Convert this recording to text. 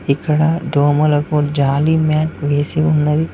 ఇక్కడ దోమలకు జాలి మ్యాట్ వేసి ఉన్నది.